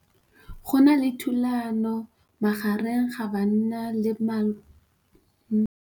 Go na le thulanô magareng ga banna le molaodi wa masepala mabapi le ditsela tse di senyegileng.